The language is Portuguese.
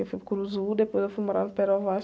Eu fui para o, depois eu fui morar no.